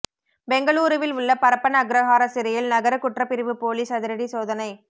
பெங்களூருவில் உள்ள பரப்பன அக்ரஹார சிறையில் நகர குற்றப்பிரிவு போலீஸ் அதிரடி சோதனை